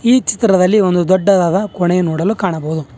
ಈ ಚಿತ್ರದಲ್ಲಿ ಒಂದು ದೊಡ್ಡದಾದ ಕೋಣೆಯನ್ನ ಕಾಣಬಹುದು.